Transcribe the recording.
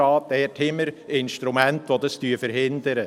Dort haben wir Instrumente, die dies verhindern.